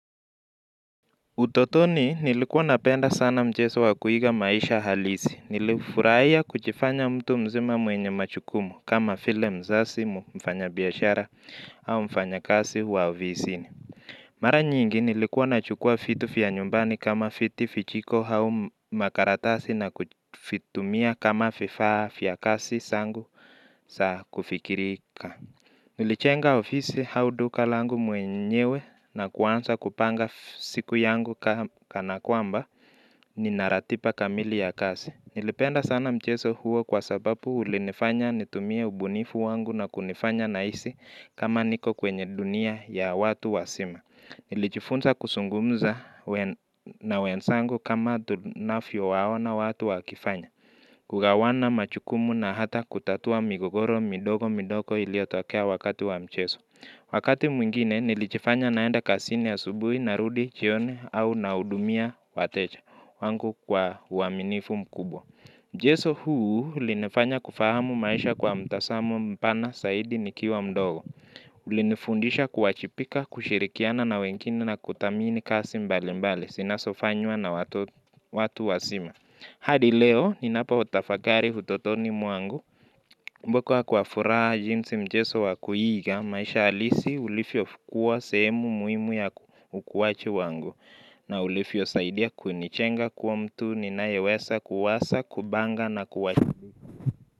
Utotoni nilikuwa napenda sana mcheso wa kuiga maisha halisi. Nilifurahia kuchifanya mtu mzima mwenye machukumu kama file mzasi mfanyabiashara au mfanyakasi wa ovisini. Mara nyingi nilikuwa nachukua fitu fya nyumbani kama fiti fichiko hau makaratasi na kufitumia kama fifaa fya kasi sangu sa kufikirika. Nilichenga ofisi hau duka langu mwenyewe na kuansa kupanga siku yangu kana kwamba ninaratipa kamili ya kasi. Nilipenda sana mcheso huo kwa sababu ulinifanya nitumie ubunifu wangu na kunifanya naisi kama niko kwenye dunia ya watu wasima. Nilichifunza kusungumza na wensangu kama tunafyo waona watu wakifanya. Kugawana machukumu na hata kutatua migogoro midogo midogo iliyotokea wakati wa mcheso. Wakati mwingine nilijifanya naenda kasini asubui narudi chioni au nahudumia watecha wangu kwa uaminifu mkubwa. Mcheso huu ulinifanya kufahamu maisha kwa mtasamo mpana saidi nikiwa mdogo. Ulinifundisha kuwachipika, kushirikiana na wengine na kuthamini kasi mbali mbali. Sinasofanywa na watu wasima. Hadi leo, ninapotafakari utotoni mwangu, kumbukwa kwa furaha jinsi mcheso wakuiga, maisha alisi ulifio fukua sehemu muhimu ya ukuachi wangu, na ulifio saidia kunichenga kuwa mtu, ninayewesa kuwasa, kubanga na kuwache.